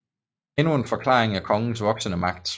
Endnu en forklaring er kongens voksende magt